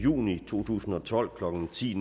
juni to tusind og tolv klokken ti